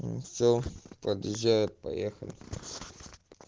все подъезжает поехали